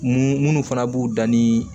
Mun munnu fana b'u dan ni